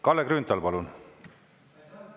Kalle Grünthal, palun!